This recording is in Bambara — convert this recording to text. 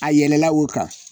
A yɛlɛla o kan